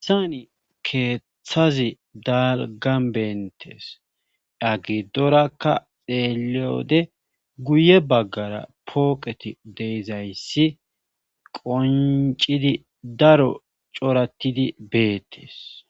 Hayssani keethazi daalggaan benttees iya giddoarakka xeelliyode guye baggara ati de7izayssi qonccidi daro corattidi beetees.